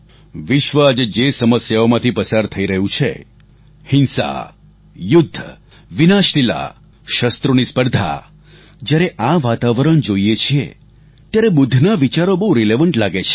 વિશ્વ આજે જે સમસ્યાઓમાંથી પસાર થઈ રહ્યું છે હિંસા યુદ્ધ વિનાશલીલા શસ્ત્રોની સ્પર્ધાજ્યારે આ વાતાવરણ જોઈએ છીએ તો ત્યારે બુદ્ધના વિચારો બહુ રિલિવન્ટ લાગે છે